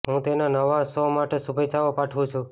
હું તેના નવા શો માટે શુભેચ્છાઓ પાઠવુ છું